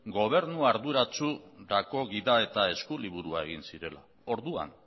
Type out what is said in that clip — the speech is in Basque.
gobernu arduratsu gida eta eskuliburua egin zirela orduan